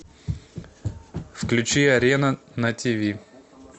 включи арена на тв